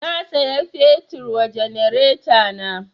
Na saya fetur wa janaretana